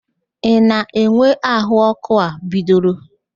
Ị na-enwe ahụ ọkụ a bidoro?